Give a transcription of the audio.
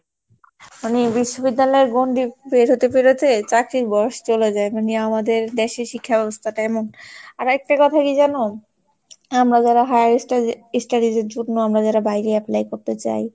মানে বিশ্ববিদ্যালয়ের গন্ডি পের হতে পেরেতে চাকরীর বয়স চলে যায়, মানে আমাদের দেশে শিক্ষা ব্যবস্থাটা এমন আর একটা কথা কি জানো? আমরা যারা higher study~ studies এর জন্য আমরা যারা বাইরে apply করতে চাই।